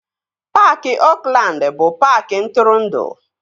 Paaki Oakland bụ paaki ntụrụndụ